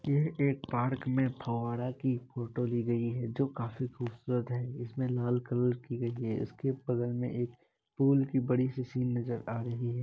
ये एक पार्क में फवारा की फोटो ली गयी है जो काफी खुबसूरत है। इसमें लाल कलर की गई है। इसके बगल में एक पुल की बड़ी सी सीन नजर आ रही है।